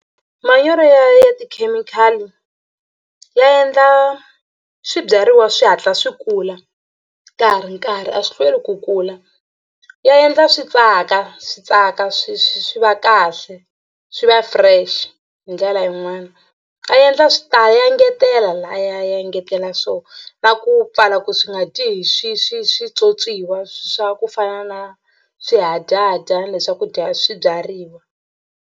Manyoro ya ya tikhemikhali ya endla swibyariwa swi hatla swi kula ka ha ri nkarhi a swi hlweli ku kula ya endla swi tsaka swi tsaka swi swi va kahle swi va fresh hi ndlela yin'wani a endla swi ta ya engetela laha ya engetela swona na ku pfala ku swi nga dyi hi swi swi switswotswiwa swa ku fana na swihadyahadyana le swa ku dya swibyariwa.